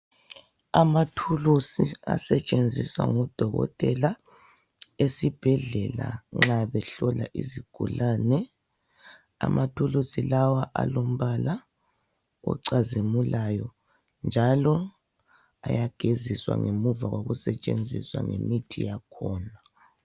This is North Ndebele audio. Amathulusi, asetshenziswa ngudokotela esibhedlela, nva behlola izigulane. Amathulusi lawa alombala ocazimulayo, njalo ayageziswa ngemuva kokusetshenziswa ngemithi yakhona.